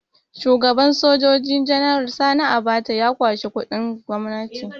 Shugaban Sojoji General Sani Abacha ya kwashi kuɗin gwamnati